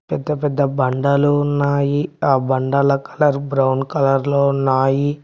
పెద్ద పెద్ద బండలు ఉన్నాయి ఆ బండల కలర్ బ్రౌన్ కలర్ లో ఉన్నాయి.